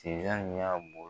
y'a .